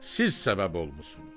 Siz səbəb olmusunuz.